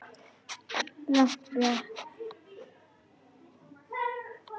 Blátt blek.